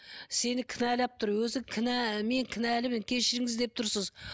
сені кінәлап тұр өзі кінә мен кінәлімін кешіріңіз деп тұрсыз